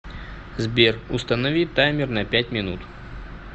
сбер установи таймер на пять минут